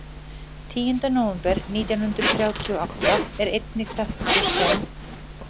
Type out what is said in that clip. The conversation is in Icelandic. Tíunda nóvember nítján hundruð þrjátíu og átta er einnig þekktur sem?